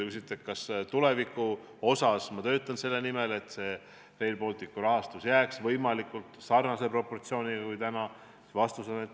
Kui te küsite, kas ma töötan selle nimel, et Rail Balticu rahastuse proportsioon jääks võimalikult sarnaseks kui täna, siis vastus on jah.